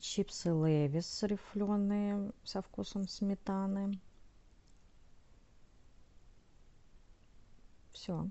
чипсы лейс рифленые со вкусом сметаны все